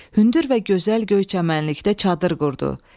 Hündür və gözəl göy çəmənlikdə çadır qurdu.